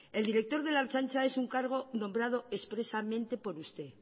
el director de la ertzaintza es un cargo nombrado expresamente por usted